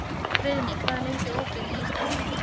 Friðný, hvað er lengi opið í Íslandsbanka?